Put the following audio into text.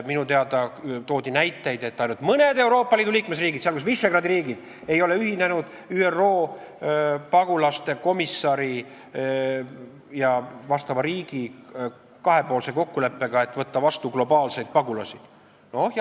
Minu teada toodi näiteid, et ainult mõned Euroopa Liidu liikmesriigid, sealjuures Visegrádi riigid, ei ole ühinenud ÜRO pagulasasjade komissari ja vastava riigi kahepoolse kokkuleppega, et globaalse skeemi alusel pagulasi vastu võtta.